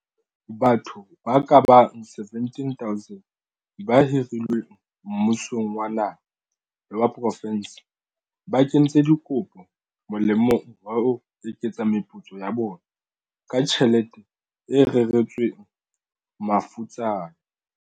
Batho ba kabang 17 000 ba hirilweng mmusong wa naha le wa profense ba kentse dikopo molemong wa ho eketsa meputso ya bona ka tjhelete e reretsweng mafutsana.